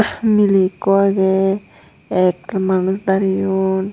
Meeley ekko agey ektal manuch dareyon.